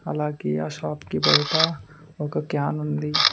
అలాగే ఆ షాప్ కి బయట ఒక క్యాన్ ఉంది.